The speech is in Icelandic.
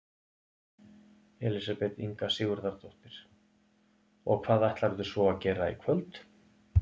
Elísabet Inga Sigurðardóttir: Og hvað ætlarðu svo að gera í kvöld?